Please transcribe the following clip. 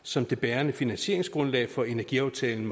som det bærende finansieringsgrundlag for energiaftalen